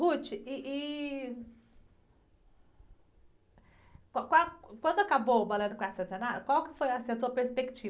ih, ih, qual, quando acabou o Balé do Quarto Centenário, qual foi, assim, a sua perspectiva?